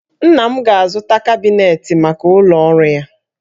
Nna m ga-azụta kabinetị maka ụlọ ọrụ ya